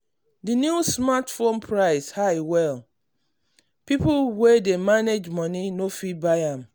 the new smartphone price high well people wey dey manage money no dey fit buy am.